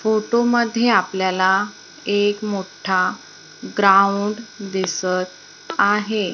Photo मध्ये आपल्याला एक मोठा ग्राउंड दिसतं आहे.